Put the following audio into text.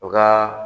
U ka